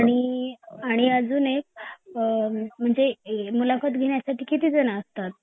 आणि अजून एक अ म्हणजे मुलाखत घेण्यासाठी किती जणं असतात ?